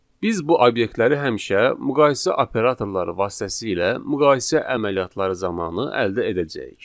Biz bu obyektləri həmişə müqayisə operatorları vasitəsilə müqayisə əməliyyatları zamanı əldə edəcəyik.